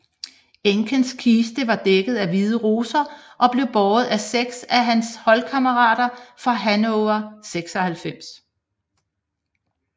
Enkes kiste var dækket af hvide roser og blev båret af seks af hans holdkammerater fra Hannover 96